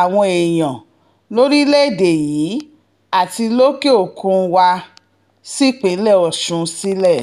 àwọn èèyàn lórílẹ̀‐èdè yìí àti lókè-òkun wa sípínlẹ̀ ọ̀sùn sílẹ̀